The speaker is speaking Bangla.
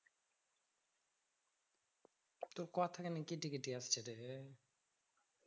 তোর কথা কেন কেটে কেটে আসছে রে